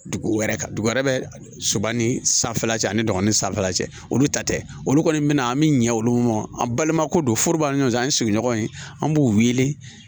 Dugu wɛrɛ ka dugu wɛrɛ bɛ soba ni sanfɛ la cɛ ani dɔgɔnin san fila cɛ olu ta tɛ olu kɔni min an bɛ ɲɛ olu ma an balima ko don foro ba ni ɲɔgɔn cɛ an ye sigiɲɔgɔn in an b'u wele